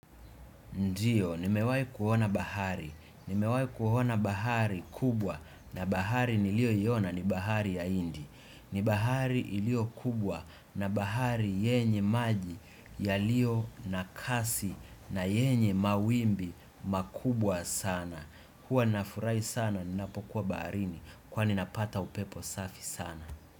Ndiyo, nimewai kuhona bahari. Nimewai kuhona bahari kubwa na bahari nilio yona ni bahari ya indi. Nibahari ilio kubwa na bahari yenye maji yalio na kasi na yenye mawimbi makubwa sana. Huwa nafurai sana, ninapokuwa baharini. Kwani napata upepo safi sana.